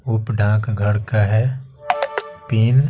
उप ढांक घर का है पिन --